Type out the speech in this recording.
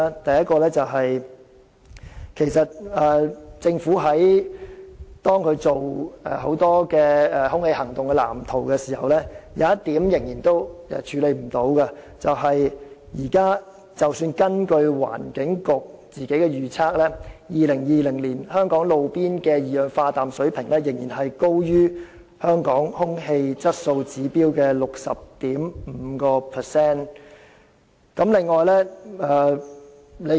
第一，在政府就空氣行動藍圖進行的規劃中，有一點仍然無法處理，那便是即使根據環境局自行作出的預測，到了2020年，香港的路邊二氧化氮水平仍然較空氣質素指標高出 60.5%。